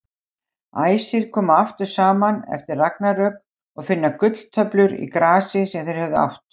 Æsir koma aftur saman eftir ragnarök og finna gulltöflur í grasi sem þeir höfðu átt.